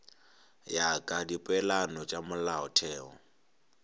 ya ka dipeelano tša molaotheo